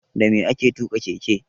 Dame ake tuƙa keke?